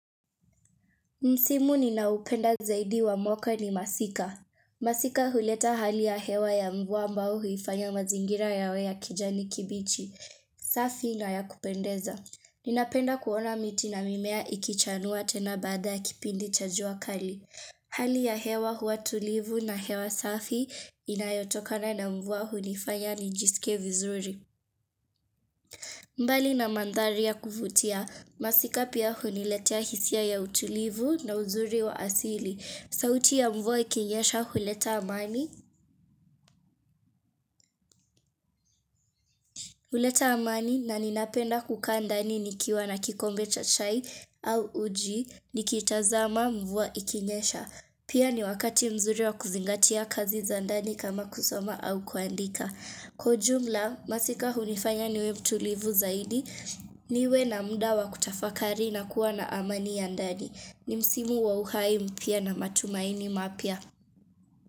Msimu ninaupenda zaidi wa mwaka ni masika. Masika huleta hali ya hewa ya mvua mbao huifanya mazingira yawe ya kijani kibichi, safi na ya kupendeza. Ninapenda kuona miti na mimea ikichanua tena bada kipindi cha jua kali. Hali ya hewa huwa tulivu na hewa safi inayotokana na mvua huifanya ni jisikie vizuri. Mbali na mandhari ya kuvutia, masika pia huniletia hisia ya utulivu na uzuri wa asili. Sauti ya mvua ikinyesha huleta amani na ninapenda kukaa ndani nikiwa na kikombe cha chai au uji nikitazama mvua ikinyesha. Pia ni wakati mzuri wa kuzingatia kazi za ndani kama kusoma au kuandika. Kwa jumla, masika hunifanya niwe mtulivu zaidi niwe na mudawa kutafakari na kuwa na amani ya ndani. Ni msimu wa uhai mpya na matumaini mapya.